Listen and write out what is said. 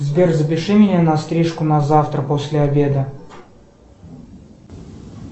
сбер запиши меня на стрижку на завтра после обеда